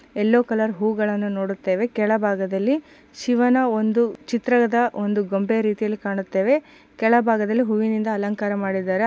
ಎಲ್ಲೋ colour ಹೂಗಳನ್ನು ನೋಡುತ್ತೇವೆ ಕೆಳಭಾಗದಲ್ಲಿ ಶಿವನ ಒಂದು ಚಿತ್ರದ ಒಂದು ಗೊಂಬೆ ರೀತಿಯಲ್ಲಿ ಕಾಣುತ್ತೇವೆ. ಕೆಳಭಾಗದಲ್ಲಿ ಹೂವಿನಿಂದ ಅಲಂಕಾರ ಮಾಡಿದರೆ.